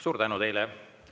Suur tänu teile!